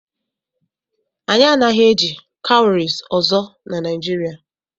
Anyị anaghị eji cowries ọzọ na Nigeria.